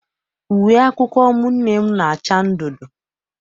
Uwe akwụkwọ ụmụnne m na-acha ndundu.